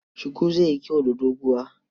Shuku zai yi kyau da doguwa.